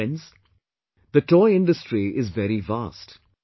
Friends, the toy Industry is very vast